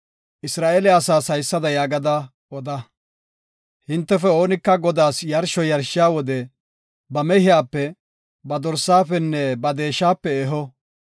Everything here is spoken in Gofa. Isra7eele asaas haysada yaagada oda; hintefe oonika Godaas yarsho yarshiya wode ba mehiyape, ba dorsafenne ba deeshape eho.